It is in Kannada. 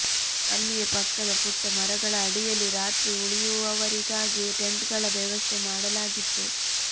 ಅಲ್ಲಿಯೇ ಪಕ್ಕದ ಪುಟ್ಟ ಮರಗಳ ಅಡಿಯಲ್ಲಿ ರಾತ್ರಿ ಉಳಿಯುವವರಿಗಾಗಿ ಟೆಂಟ್ಗಳ ವ್ಯವಸ್ಥೆ ಮಾಡಲಾಗಿತ್ತು